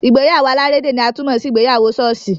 Ìgbéyàwó alárédè ni a tún mọ sí ìgbéyàwó ṣọ́ọ̀ṣì.